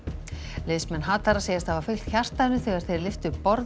liðsmenn hatara segjast hafa fylgt hjartanu þegar þeir lyftu borðum